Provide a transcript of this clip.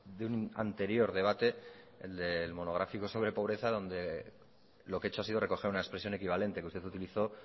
de un anterior debate el monográfico sobre pobreza donde lo que he hecho ha sido recoger una expresión equivalente que usted utilizó